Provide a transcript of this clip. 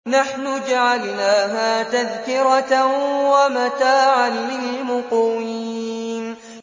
نَحْنُ جَعَلْنَاهَا تَذْكِرَةً وَمَتَاعًا لِّلْمُقْوِينَ